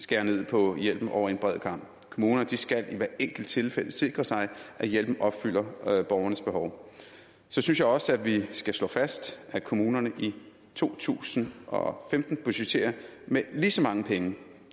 skære ned på hjælpen over en bred kam kommunerne skal i hvert enkelt tilfælde sikre sig at hjælpen opfylder borgernes behov så synes jeg også at vi skal slå fast at kommunerne i to tusind og femten budgetterer med lige så mange penge